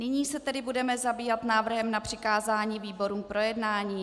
Nyní se tedy budeme zabývat návrhem na přikázání výborům k projednání.